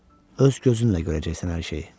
Öz gözünlə görəcəksən hər şeyi.